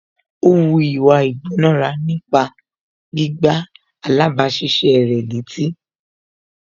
Ó wu ìwà ìgbónára nípa gbígbá alábàáṣiṣé rẹ̀ létí